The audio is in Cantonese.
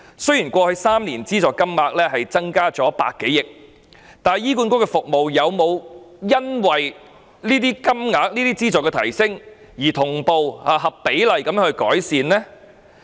雖然過去3年的資助金額增加100多億元，但醫管局的服務有否因為資助金額上升而同步合比例地改善呢？